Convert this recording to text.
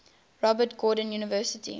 robert gordon university